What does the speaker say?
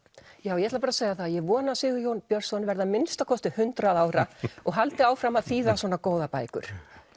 ég ætla að segja það að ég vona að Sigurjón Björnsson verði að minnsta kosti hundrað ára og haldi áfram að þýða svona góðar bækur